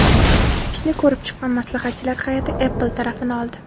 Ishni ko‘rib chiqqan maslahatchilar hay’ati Apple tarafini oldi.